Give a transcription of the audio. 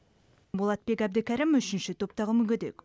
болатбек әбдікәрім үшінші топтағы мүгедек